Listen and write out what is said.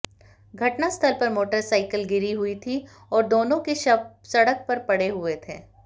घटनास्थल पर मोटरसाइकिल गिरी हुई थी और दोनों के शव सड़क पर पड़े हुए थे